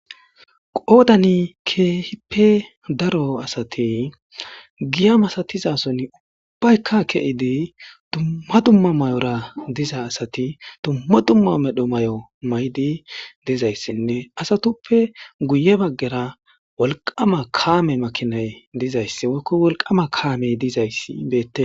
Qoodani keehippe daro asati giya masatizasoni ubbayka ke'idi dumma dumma mayora diza asati dumma dumma medho mayo mayidi dizaysinne asatuppe guye baggara wolqama kaame makinay dizaysi woyko wolqama kaamey dizaysi beetees.